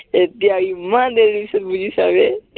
এতিয়া ইমান দেৰি পিছত বুজিছা বে